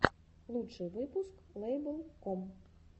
лучший выпуск лэйбл ком